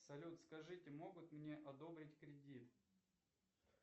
салют скажите могут мне одобрить кредит